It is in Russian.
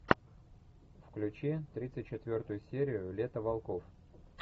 включи тридцать четвертую серию лето волков